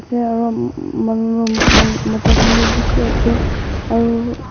mota khan bishi ase aru--